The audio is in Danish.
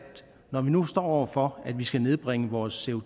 når vi nu står over for at vi skal nedbringe vores